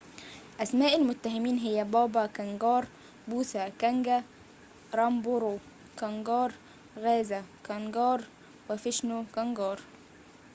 أسماء المتهمين هي بابا كانجار بوثا كانجا رامبرو كانجار غازا كانجار وفيشنو كانجار